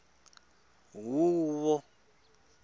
huvo